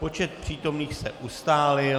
Počet přítomných se ustálil.